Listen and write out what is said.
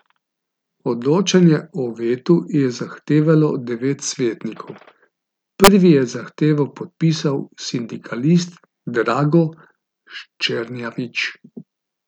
Odločanje o vetu je zahtevalo devet svetnikov, prvi je zahtevo podpisal sindikalist Drago Ščernjavič.